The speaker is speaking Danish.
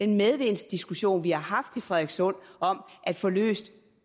medvindsdiskussion vi har haft i frederikssund om at få løst